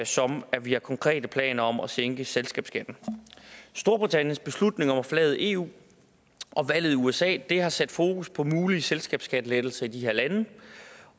som at vi har konkrete planer om at sænke selskabsskatten storbritanniens beslutning om at forlade eu og valget i usa har sat fokus på mulige selskabsskattelettelser i de her lande